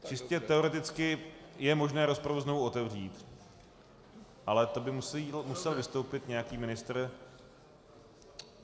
Čistě teoreticky je možné rozpravu znovu otevřít, ale to by musel vystoupit nějaký ministr.